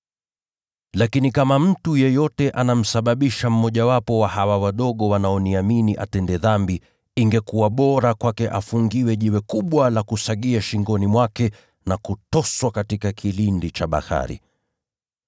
Lakini kama mtu yeyote akimsababisha mmojawapo wa hawa wadogo wanaoniamini kutenda dhambi, ingekuwa bora kwake afungiwe jiwe kubwa la kusagia shingoni mwake, na kutoswa katika kilindi cha bahari.